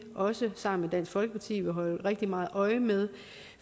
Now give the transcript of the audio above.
også sammen med dansk folkeparti vil holde rigtig meget øje med